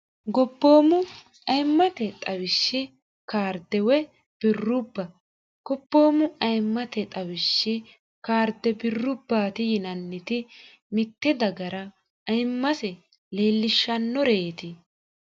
goboomu ayimmate xawishshi kaarde woy birrubba gobboommu ayimmate xawishshi kaarde birrubbaati yinanniti mitte dagara ayimmase leellishshannoreeti.